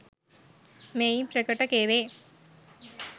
මෙයින් ප්‍රකට කෙරේ.